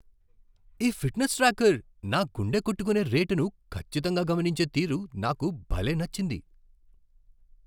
ఈ fitness tracker నా గుండె కొట్టుకునే రేటును ఖచ్చితంగా గమనించే తీరు నాకు భలే నచ్చింది.